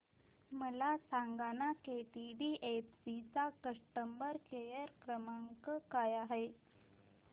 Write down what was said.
मला सांगाना केटीडीएफसी चा कस्टमर केअर क्रमांक काय आहे